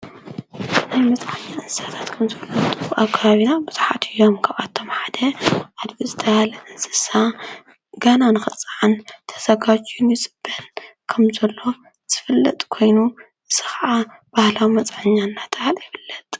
ናይ መጽኛ እንሳታት ከም ዝፍለጡ ካብ ኣቶም ሓደ አድግ ራቢና ብጽሓት እዮሓደ ም ቀባትቶምሓደ ኣድግ ዝተባሃለ እንስሳ ጋና ንኽፅዓን ተሰጓጅዩ ይጽበን ከም ዘሎ ዘፍለጥ ኮይኑ ስኸዓ ባህላ መፃኛ ናተሃል የፈለጥ።